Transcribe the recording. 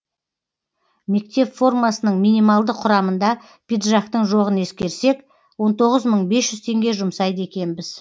мектеп формасының минималды құрамында пиджактың жоғын ескерсек он тоғыз мың бес жүз теңге жұмсайды екенбіз